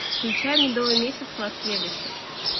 включай медовый месяц в лас вегасе